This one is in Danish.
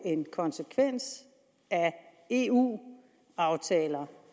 er en konsekvens af eu aftaler